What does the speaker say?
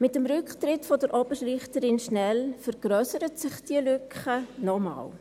Mit dem Rücktritt von Oberrichterin Schnell vergrössert sich diese Lücke nochmals.